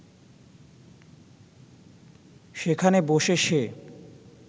সেখানে বসে সে